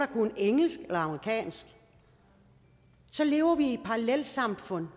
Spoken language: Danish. kunne engelsk eller amerikansk så lever vi med et parallelsamfund